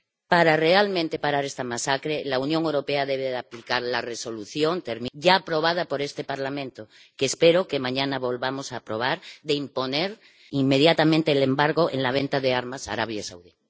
Para realmente parar esta masacre la Unión Europea debe aplicar la Resolución ya aprobada por este Parlamento, que espero que mañana volvamos a aprobar, de imponer inmediatamente el embargo en la venta de armas a Arabia Saudí.